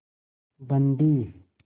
बंदी